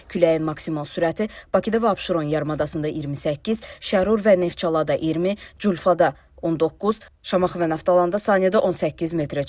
Küləyin maksimal sürəti Bakıda və Abşeron yarımadasında 28, Şərur və Neftçalada 20, Culfada 19, Şamaxı və Naftalanda saniyədə 18 metrə çatır.